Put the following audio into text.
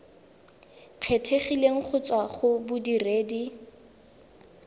kgethegileng go tswa go bodiredi